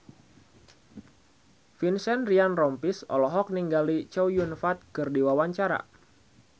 Vincent Ryan Rompies olohok ningali Chow Yun Fat keur diwawancara